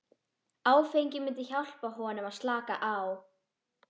Áfengið myndi hjálpa honum að slaka á.